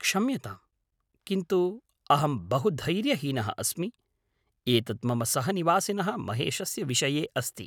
क्षम्यतां, किन्तु अहं बहु धैर्यहीनः अस्मि, एतत् मम सहनिवासिनः महेशस्य विषये अस्ति।